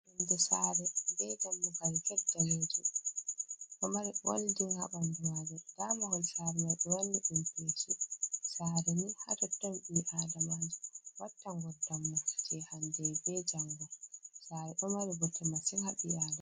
Yonde saare be dammugal get daneejum, ɗo mari goldin haa ɓandu maajum. Nda mahol saare mai ɓe wanni ɗum peshi. Saare ni haa totton ɓii adamaajo watta ngurdam mum je hande be jango. Saare ɗo mari bote masin haa ɓii adamaajo.